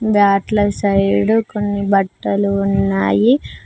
బ్యాట్ల side కొన్ని బట్టలు ఉన్నాయి.